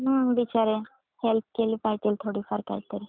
हम्म बिचारे हेल्प केली पाहिजे थोडीफार काहीतरी.